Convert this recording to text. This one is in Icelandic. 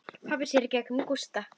Pabbi sér í gegnum Gústa.